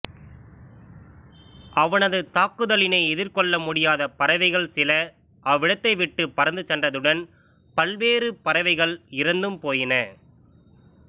அவனது தாக்குதலினை எதிர்கொள்ள முடியாத பறவைகள் சில அவ்விடத்தைவிட்டு பறந்து சென்றதுடன் பல்வேறு பறவைகள் இறந்தும் போயின